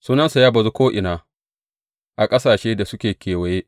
Sunansa ya bazu ko’ina a ƙasashen da suke kewaye.